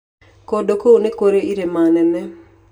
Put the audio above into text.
Kũndũ kũu nĩ kũrĩ irĩma nene.